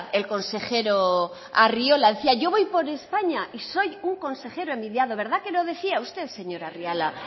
el consejero arriola decía yo voy por españa y soy un consejero envidiado verdad que lo decía usted señor arriola